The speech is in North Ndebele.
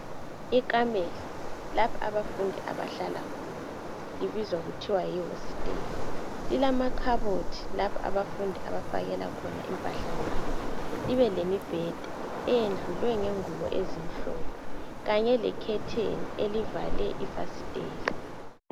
ikamelo lapha abafundi abahlalela hona ibizwa kuthiwa yi hostela kulama khabothi lapha abafundi abafakakhona impahlazabo kube lemibheda eyendlalwe ngezingubo ezimhlophe kanye lekhetheni elivale ifasitela